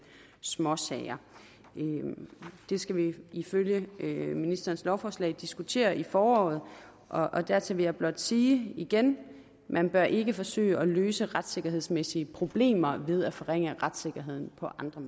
småsager det skal vi ifølge ministerens lovforslag diskutere i foråret og dertil vil jeg blot sige igen man bør ikke forsøge at løse retssikkerhedsmæssige problemer ved at forringe retssikkerheden